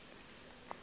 ga go na le mo